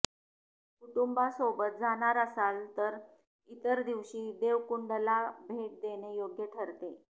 कुटूंबासोबत जाणार असाल तर इतर दिवशी देवकुंडला भेट देणे योग्य ठरते